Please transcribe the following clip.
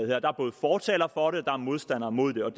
her der er både fortalere for det og modstandere mod det og